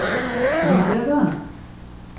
Pride ven.